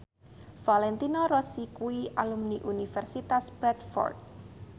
Valentino Rossi kuwi alumni Universitas Bradford